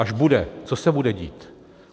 Až bude, co se bude dít?